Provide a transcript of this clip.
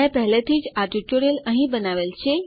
મેં પહેલેથી જ આ ટ્યુટોરીયલ અહીં બનાવેલ છે